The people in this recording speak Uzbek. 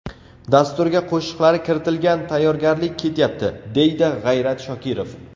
Dasturga qo‘shiqlari kiritilgan, tayyorgarlik ketyapti”, deydi G‘ayrat Shokirov.